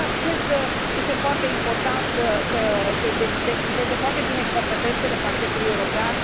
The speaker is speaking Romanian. Cred că este foarte important să se delimiteze foarte bine competențele Parchetului European.